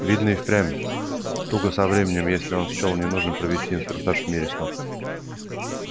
видно и впрямь туго со временем если он счёл нужным провести инструктаж в мире снов